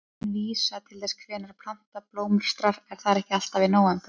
Heitin vísa til þess hvenær plantan blómstrar en það er ekki alltaf í nóvember.